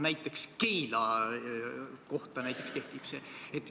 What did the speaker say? See kehtib näiteks Keila kohta.